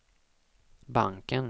banken